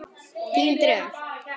Þín Dröfn.